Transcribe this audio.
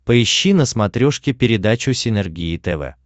поищи на смотрешке передачу синергия тв